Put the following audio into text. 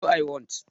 No, I won't